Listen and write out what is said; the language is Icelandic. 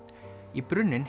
í brunninn